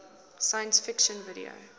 science fiction video